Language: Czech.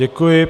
Děkuji.